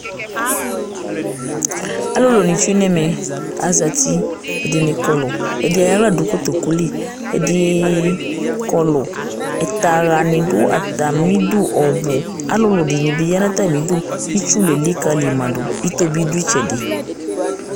Alʊlʊ lésiŋɛmɛ, azatɩ, ɛɖɩnɩ ƙɔlʊ, ɛɖɩ aƴɔ ahla ɖʊ ŋʊ ƙotoƙʊli, ɛɖɩ ƙɔlʊ Ɛtahaŋɩ ɖʊ tamiɖʊ ɔɓʊ Alʊluɖiniɓɩ ɔƴaŋu tamiɖʊ Ɩtsʊ lélikamaɖu Ɩtobɩ ɖʊ ɩtsɛɖi